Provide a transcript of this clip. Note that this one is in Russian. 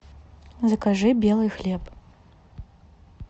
закажи белый хлеб